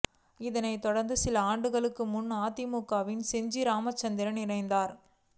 இதனைத் தொடர்ந்து சில ஆண்டுகளுக்கு முன்னர் அதிமுகவில் செஞ்சி ராமச்சந்திரன் இணைந்தார்